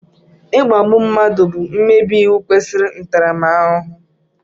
Ikpágbù mmadụ bụ mmebi iwu kwesiri ntaramahuhu